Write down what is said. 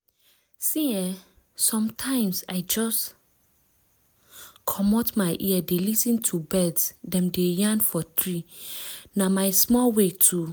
see ehsometimes i just* **‘pause’** *commot my ear dey lis ten to bird dem dey yarn for tree—na my small way to*